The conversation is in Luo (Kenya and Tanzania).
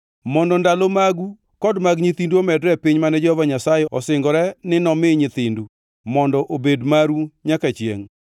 mondo ndalo magu kod mag nyithindu omedre e piny mane Jehova Nyasaye osingore ni nomi nyithindu, mondo obed maru nyaka chiengʼ.